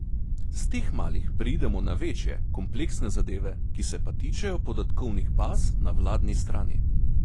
S teh malih preidemo na večje, kompleksne zadeve, ki se pa tičejo podatkovnih baz na vladni strani.